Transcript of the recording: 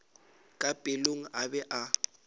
ka pelong a be a